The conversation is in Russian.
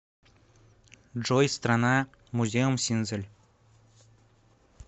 джой страна музеумсинзель